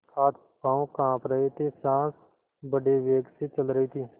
हाथपॉँव कॉँप रहे थे सॉँस बड़े वेग से चल रही थी